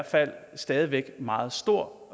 fald stadig væk meget stor